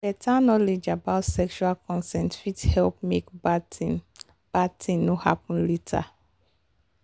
better knowledge about sexual consent fit help make bad thing bad thing no happen later